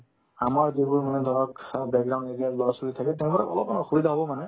আমাৰ যিবোৰ মানে ধৰক অ background area ৰ ল'ৰা-ছোৱালী থাকে তেওঁলোকৰ অলপমান অসুবিধা হ'ব মানে